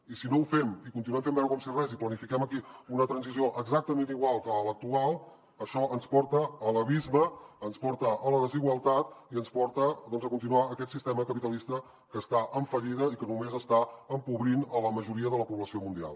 i si no ho fem i continuem fent veure com si res i planifiquem aquí una transició exactament igual que l’actual això ens porta a l’abisme ens porta a la desigualtat i ens porta doncs a continuar aquest sistema capitalista que està en fallida i que només està empobrint la majoria de la població mundial